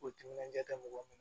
K'u timinandiya mɔgɔ min